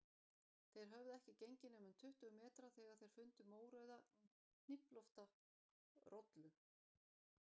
Þeir höfðu ekki gengið nema um tuttugu metra þegar þeir fundu mórauða, hnýflótta rollu